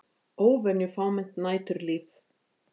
Óvenju fámennt næturlíf